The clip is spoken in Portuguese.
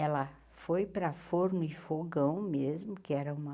Ela foi para Forno e Fogão mesmo, que era uma